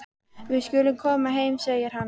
Við skulum koma heim, segir hann.